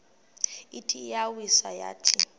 ithi iyawisa yathi